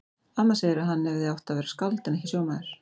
Amma segir að hann hefði átt að verða skáld en ekki sjómaður.